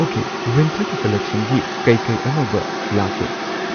okay ꯋꯤꯟꯇꯔꯒꯤ ꯀꯜꯂꯦꯛꯁꯟꯒꯤ ꯀꯩ ꯀꯩ ꯑꯅꯧꯕ ꯂꯥꯛꯀꯦ